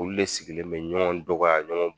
Olu de sigilen bɛ ɲɔɔn dɔgɔya ɲɔɔn